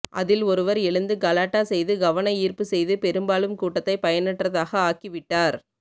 அதில் ஒருவர் எழுந்து கலாட்டா செய்து கவன ஈர்ப்பு செய்து பெரும்பாலும் கூட்டத்தை பயனற்றதாக ஆக்கிவிட்டார்